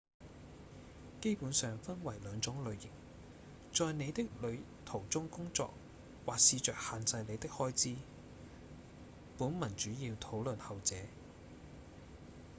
基本上分為兩種類型：在您的旅途中工作或試著限制您的開支本文主要討論後者